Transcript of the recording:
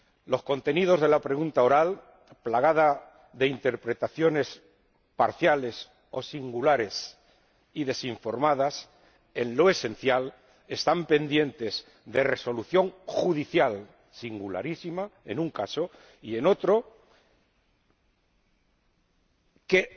Los contenidos de la pregunta oral, plagada de interpretaciones parciales o singulares y desinformadas, en lo esencial, están pendientes de resolución judicial singularísima, en un caso, y en otro, que